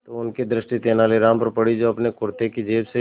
तो उनकी दृष्टि तेनालीराम पर पड़ी जो अपने कुर्ते की जेब से